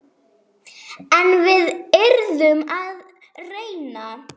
En við yrðum að reyna.